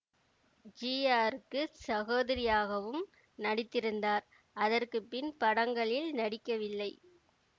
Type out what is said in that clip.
ஜிஆருக்குச் சகோதரியாகவும் நடித்திருந்தார் அதற்கு பின் படங்களில் நடிக்கவில்லை